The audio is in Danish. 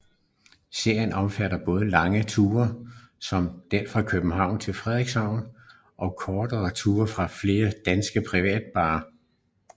Serien omfatter både lange ture som den fra København til Frederikshavn og kortere ture fra flere danske privatbaner